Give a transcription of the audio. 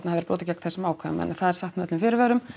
verið brotið gegn þessum ákvæðum en það er sagt með öllum fyrirvörum